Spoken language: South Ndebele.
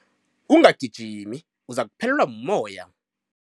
Ungagijimi uzakuphelelwa mumoya.